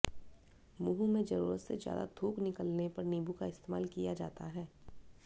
मुंह में जरूरत से ज्यादा थूक निकलने पर नींबू का इस्तेमाल किया जाता है